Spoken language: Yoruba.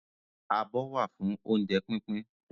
Abọ́ wà fún oúnjẹ pínpín